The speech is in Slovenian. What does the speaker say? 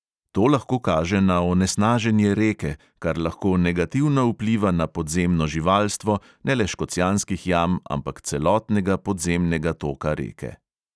To lahko kaže na onesnaženje reke, kar lahko negativno vpliva na podzemno živalstvo, ne le škocjanskih jam, ampak celotnega podzemnega toka reke.